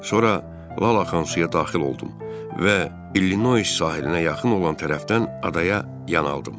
Sonra lal axan suya daxil oldum və İllinois sahilinə yaxın olan tərəfdən adaya yanaldım.